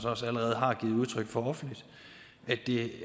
også allerede har givet udtryk for offentligt at det